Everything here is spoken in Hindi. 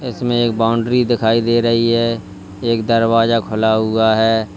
इसमें एक बाउंड्री दिखाई दे रही है एक दरवाजा खुला हुआ है।